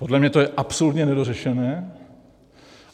Podle mě to je absolutně nedořešené.